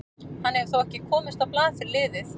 Hann hefur þó ekki komist á blað fyrir liðið.